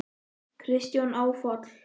Kristján: Áfall?